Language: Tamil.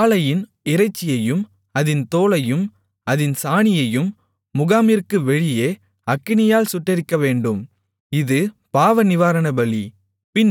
காளையின் இறைச்சியையும் அதின் தோலையும் அதின் சாணியையும் முகாமிற்கு வெளியே அக்கினியால் சுட்டெரிக்கவேண்டும் இது பாவநிவாரணபலி